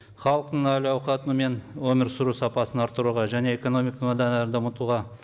халықтың әлауқаты мен өмір сүру сапасын арттыруға және экономиканы одан әрі дамытуға